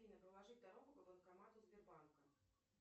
афина проложить дорогу к банкомату сбербанка